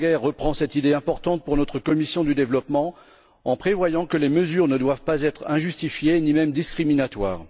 Gallagher reprend cette idée importante pour notre commission du développement en prévoyant que les mesures ne doivent pas être injustifiées ni même discriminatoires.